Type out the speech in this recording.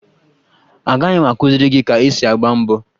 Agaghị m akụziri gị ka esi agba mbọ